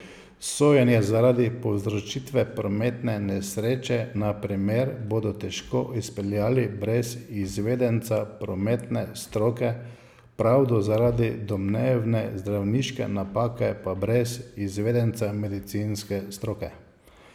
Sojenje zaradi povzročitve prometne nesreče na primer bodo težko izpeljali brez izvedenca prometne stroke, pravdo zaradi domnevne zdravniške napake pa brez izvedenca medicinske stroke.